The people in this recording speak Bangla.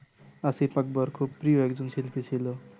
আসিফ আকবর খুব প্রিয় একজন শিল্পী ছিলো